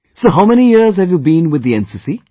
So how many years have you been with the NCC